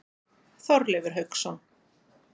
Þorleifur Hauksson.